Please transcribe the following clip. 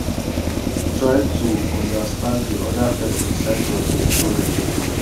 try to understand di oda person side of di story